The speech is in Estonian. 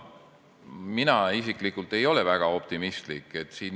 Mina isiklikult ei ole väga optimistlik.